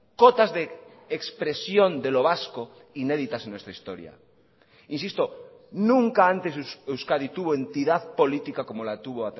cotas de expresión de lo vasco inéditas en nuestra historia insisto nunca antes euskadi tuvo entidad política como la tuvo